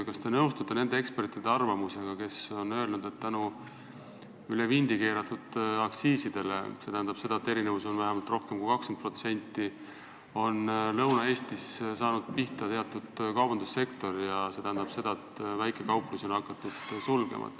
Kas te nõustute nende ekspertide arvamusega, kes on öelnud, et üle vindi keeratud aktsiiside tõttu – st erinevus on rohkem kui 20% – on Lõuna-Eestis saanud pihta teatud kaubandussektor, mis tähendab, et väikekauplusi on hakatud sulgema?